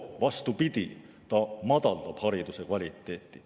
Vastupidi, see madaldab hariduse kvaliteeti.